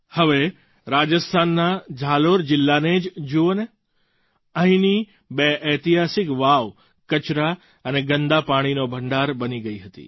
હવે રાજસ્થાનના ઝાલોર જિલ્લાને જ જુઓને અહીંની બે ઐતિહાસિક વાવ કચરા અને ગંદા પાણીનો ભંડાર બની ગઈ હતી